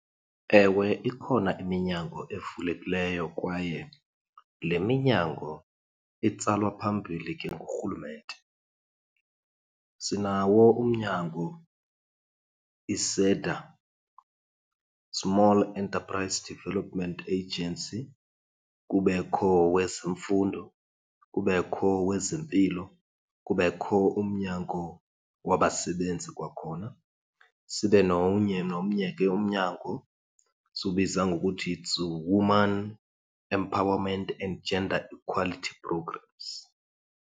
Ewe, ikhona iminyango evulekileyo kwaye le minyango itsalwa phambili ke ngurhulumente. Sinawo umnyango iSEDA, Small Enterprise Development Agency, kubekho owezeMfundo, kubekho owezeMpilo, kubekho umnyango waBasebenzi kwakhona, sibe nomnye, nomnye ke umnyango siwubiza ngokuthi it's Women Empowerment and Gender and Equality Programs.